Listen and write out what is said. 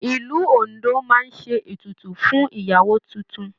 Ìlú Ondo máa ń ṣe ètùtù fún ìyàwó tuntun.